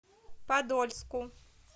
подольску